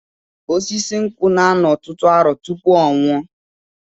Osisi nkwụ na-anọ ọtụtụ arọ tụpụ ọnwụ ọ